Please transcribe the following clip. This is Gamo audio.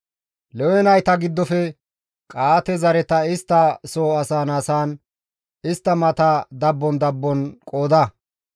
«Lewe nayta giddofe Qa7aate zareta istta soo asaan asaan istta mata dabbon dabbon qooda.